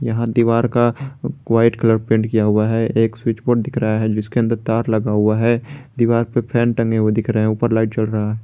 यहां दीवार का व्हाईट कलर पेंट किया हुआ है एक स्विच बोर्ड पर दिख रहा है जिसके अंदर तार लगा हुआ है दीवार पे फैन टंगे हुए दिख रहा है ऊपर लाइट जल रहा है।